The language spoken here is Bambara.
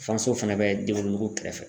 fanso fɛnɛ bɛ den wolonugu kɛrɛfɛ.